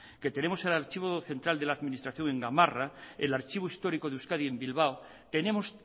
que tenemos el archivo central de la administración en gamarra el archivo histórico de euskadi en bilbao tenemos